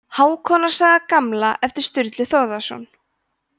hákonar saga gamla eftir sturlu þórðarson